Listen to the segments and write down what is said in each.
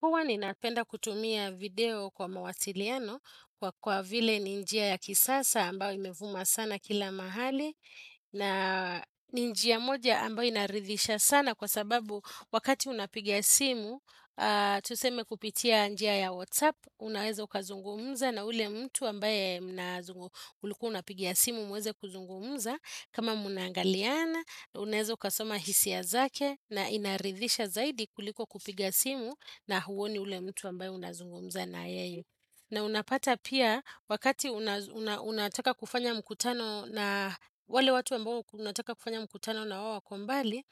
Huwa ninapenda kutumia video kwa mawasiliano kwa kwa vile ni njia ya kisasa ambayo imevuma sana kila mahali. Na ni njia moja ambayo inaridhisha sana kwa sababu wakati unapigia simu, tuseme kupitia njia ya WhatsApp, unaweza ukazungumza na ule mtu ambaye ulikuwa unapigia simu muweze kuzungumza. Kama munaangaliana, unezo kasoma hisia zake na inaridhisha zaidi kuliko kupiga simu na huwoni ule mtu ambaye unazungumza na yeye. Na unapata pia wakati unataka kufanya mkutano na wale watu ambao unataka kufanya mkutano na wao wakombali,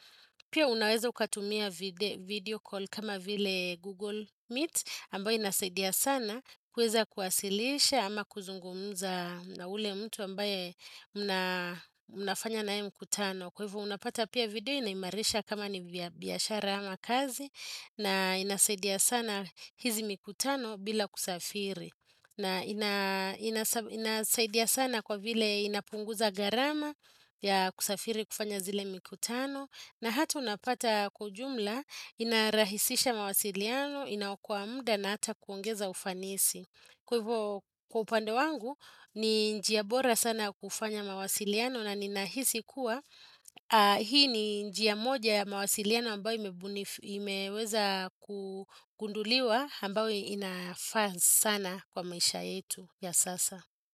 pia unaweza ukatumia video call kama vile Google Meet ambayo inasaidia sana kuweza kuwasilisha ama kuzungumza na ule mtu ambaye unafanya na yeye mkutano. Kwa hivyo unapata pia video inaimarisha kama ni biashara ama kazi na inasaidia sana hizi mikutano bila kusafiri. Na inasaidia sana kwa vile inapunguza garama ya kusafiri kufanya zile mikutano. Na hatu unapata kwa ujumla inarahisisha mawasiliano inaokoa muda na hata kuongeza ufanisi. Kwa hivo kwa upande wangu, ni njia bora sana ya kufanya mawasiliano na ninahisi kuwa, hii ni njia moja ya mawasiliano ambayo imeweza kunguduliwa ambayo inafaa sana kwa maisha yetu ya sasa.